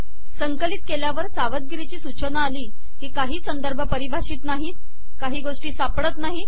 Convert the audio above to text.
संकलित केल्यावर सावधगीरीची सूचना आली की काही संदर्भ पारिभाषित नाहीत काही गोष्टी सापडत नाही